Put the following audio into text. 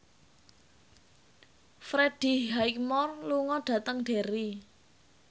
Freddie Highmore lunga dhateng Derry